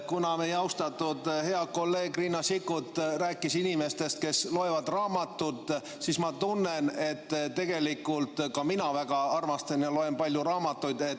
Kuna meie austatud hea kolleeg Riina Sikkut rääkis inimestest, kes loevad raamatut, siis ma tunnen, et ka mina väga armastan ja loen palju raamatuid.